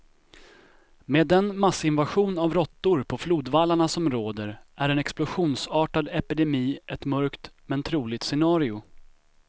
Med den massinvasion av råttor på flodvallarna som råder är en explosionsartad epidemi ett mörkt, men troligt scenario.